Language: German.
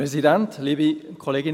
Kommissionspräsident der SAK.